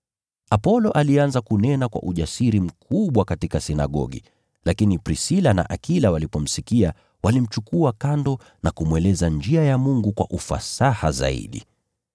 Apolo alianza kunena kwa ujasiri mkubwa katika sinagogi. Lakini Prisila na Akila walipomsikia, walimchukua kando na kumweleza njia ya Mungu kwa ufasaha zaidi.